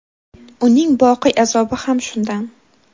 uning boqiy azobi ham shundan.